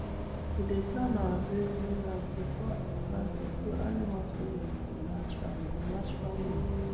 we dey plan our grazing round before planting so animals movement go match farm go match farm work